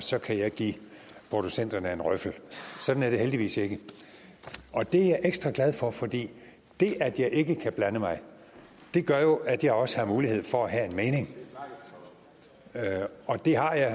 og så kan jeg give producenterne en røffel sådan er det heldigvis ikke og det er jeg ekstra glad for fordi det at jeg ikke kan blande mig gør jo at jeg også har mulighed for at have en mening og det har jeg